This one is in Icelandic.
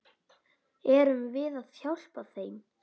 Erum við að hjálpa þeim?